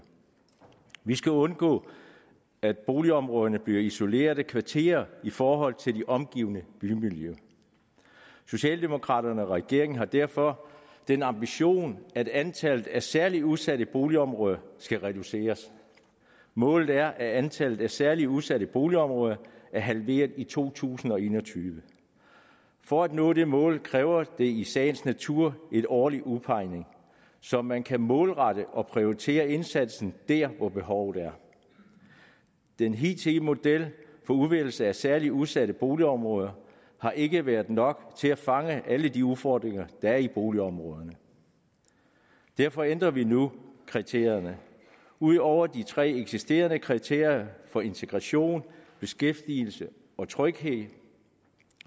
vi skal undgå at boligområderne bliver isolerede kvarterer i forhold til det omgivende bymiljø socialdemokraterne og regeringen har derfor den ambition at antallet af særligt udsatte boligområder skal reduceres målet er at antallet af særligt udsatte boligområder er halveret i to tusind og en og tyve for at nå det mål kræver det i sagens natur en årlig udpegning så man kan målrette og prioritere indsatsen der hvor behovet er den hidtidige model for udvælgelse af særligt udsatte boligområder har ikke været nok til at fange alle de udfordringer der er i boligområderne derfor ændrer vi nu kriterierne ud over de tre eksisterende kriterier for integration beskæftigelse og tryghed